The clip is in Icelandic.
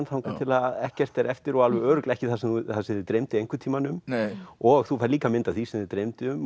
þangað til ekkert er eftir og alveg örugglega ekki það sem það sem þig dreymdi einhvern tímann um og þú færð líka mynd af því sem þig dreymdi um